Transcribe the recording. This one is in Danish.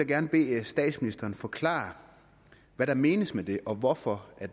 gerne bede statsministeren forklare hvad der menes med det og hvorfor